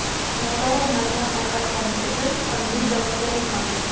noto‘g‘ri ma’lumot tarqatganlik uchun qonuniy javobgarlik mavjud.